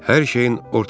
Hər şeyin ortalıqdadır.